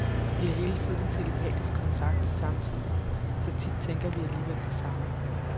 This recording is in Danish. Vi har hele tiden telepatisk kontakt samtidig, så tit tænker vi alligevel det samme.